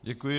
Děkuji.